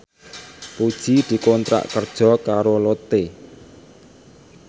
Puji dikontrak kerja karo Lotte